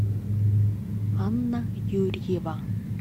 анна юрьева